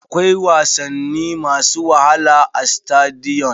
Akwai wasanni masu wahala a stadiyom.